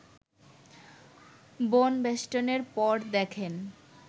বনবেষ্টনের পর দেখেন